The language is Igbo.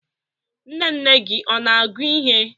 Nne nne gị ọ na-agụ ihe?